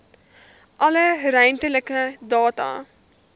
alle ruimtelike data